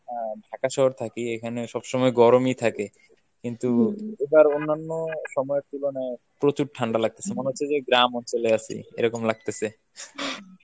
Dhaka শহর থাকি এখানে সবসময় গরমই থাকে কিন্তু এবার অন্যান্য সময়ের তুলনায় প্রচুর ঠান্ডা লাগতেসে মনে হচ্ছে যে গ্রাম অঞ্চলে আছি এরকম লাগতেসে।